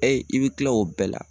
i bɛ kila o bɛɛ la.